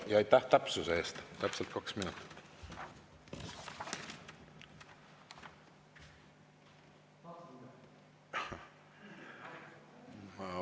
Ja aitäh täpsuse eest – täpselt kaks minutit.